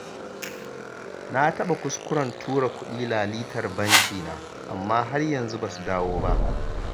Na taɓa kuskuren tura kuɗi lalitar bankina, amma har yanzu ba su dawo ba.